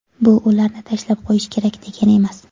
Bu ularni tashlab qo‘yish kerak, degani emas.